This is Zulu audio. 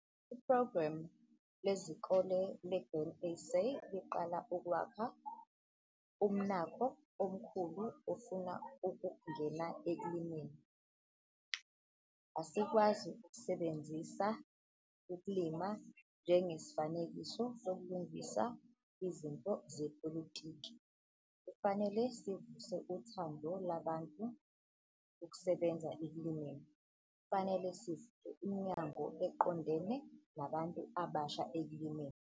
Iphrogramu lezikole leGrain SA liqala ukwakha umnakho omkhulu ofuna ukungena ekulimeni. Asikwazi ukusebenzisa ukulima njengesifanekiso sokulungisa izinto zepolitiki, kufanele sivuse uthando labantu ukusebenza ekulimeni. Kufanele sivule iminyango eqondane nabantu abasha ekulimeni.